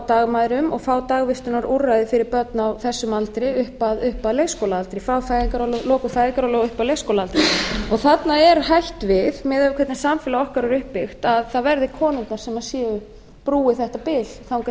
dagmæðrum og fá dagvistunarúrræði fyrir börn á þessum aldri upp að leikskólaaldri frá lokum fæðingarorlofs og upp að leikskólaaldri þarna er hætt við miðað við hvernig samfélag okkar er upp byggt að það verði konurnar sem brúi þetta bil þangað